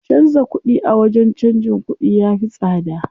Canza kuɗi a wajen canjin kuɗi ya fi tsada.